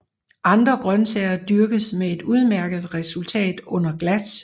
Andre grøntsager dyrkes med et udmærket resultat under glas